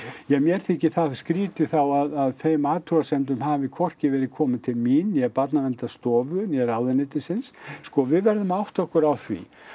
ja mér þykir það skrítið þá að þeim athugasemdum hafi hvorki verið komið til mín né Barnaverndarstofu né ráðuneytisins sko við verðum að átta okkur á því